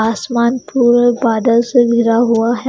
आसमान पूरा बादल से घिरा हुआ है।